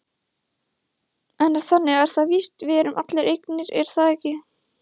En þannig er það víst, við erum allir eignir er það ekki?